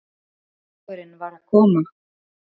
Bolludagurinn var að koma!